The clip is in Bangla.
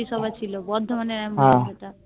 পরিসভা ছিল বর্ধমান এর Ambulance ছিল ওটা